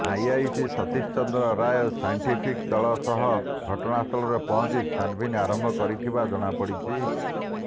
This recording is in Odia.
ଆଇଆଇସି ସତୀଶ ଚନ୍ଦ୍ର ରାୟ ସାଇଣ୍ଟିଫିକ ଦଳ ସହ ଘଟଣାସ୍ଥଳରେ ପହଁଞ୍ଚି ଛାନଭିନ ଆରମ୍ଭ କରିଥିବା ଜଣାପଡିଛି